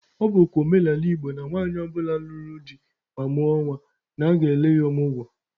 Ọ bụkwa omenala Igbo na nwaanyị ọ bụla nụrụ di ma mụọ nwa, na aga-ele ya ọmụgwọ.